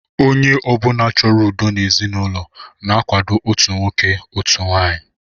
Onye ọ bụla chọrọ udo n'ezinụlọ na-akwado otu nwoke, otu nwaanyị